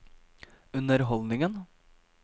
underholdningen